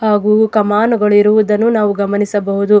ಹಾಗೂ ಕಮಾನುಗಳು ಇರುವುದನ್ನು ನಾವು ಗಮನಿಸಬಹುದು.